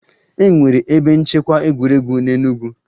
È nwere ebe nchekwa egwuregwu n'Enugwu?